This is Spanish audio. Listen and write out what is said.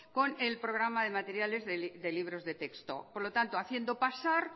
con el programa de materiales de libros de texto por lo tanto haciendo pasar